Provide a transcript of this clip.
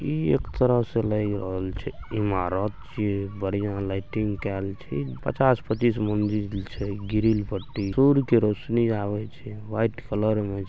ई एक तरह से लाग रहल छै इमारत छिये बढ़िया लाइटिंग कायल छै पचास-पच्चीस मंजिल छै ग्रिल पट्टी सूर्य के रौशनी आबे छै व्हाइट कलर में--